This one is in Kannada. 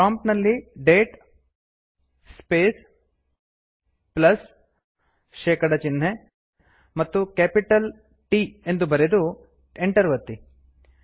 ಪ್ರಾಂಪ್ಟ್ ನಲ್ಲಿ ಡೇಟ್ ಸ್ಪೇಸ್ ಪ್ಲಸ್160 ಶೇಕಡ ಚಿಹ್ನೆ ಮತ್ತು ಕ್ಯಾಪಿಟಲ್ T ಬರೆದು ಎಂಟರ್ ಒತ್ತಿ